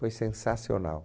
Foi sensacional.